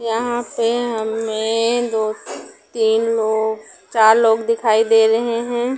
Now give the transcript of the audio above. यहाँ पे हमें दो तीन लोग चार लोग दिखाई दे रहे हैं ।